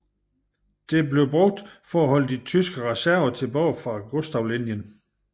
Dette blev brugt for at holde de tyske reserver tilbage fra Gustavlinjen